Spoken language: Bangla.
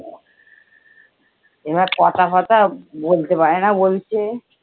এবার কথা ফথা বলতে পারে না বলছে।